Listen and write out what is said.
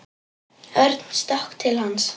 Örn stökk til hans.